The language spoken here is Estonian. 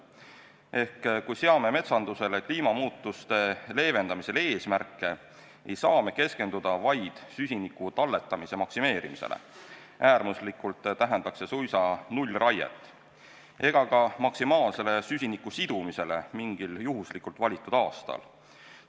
Ehk kui seame metsandusele kliimamuutuste leevendamisega seotud eesmärke, ei saa me keskenduda vaid süsiniku talletamise maksimeerimisele – äärmusesse minnes tähendaks see suisa nullraiet – ega ka maksimaalsele süsiniku sidumisele mingil juhuslikult valitud aastal.